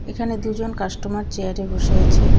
এখানে দুজন কাস্টমার চেয়ারে বসে আছে.